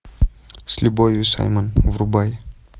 с любовью саймон врубай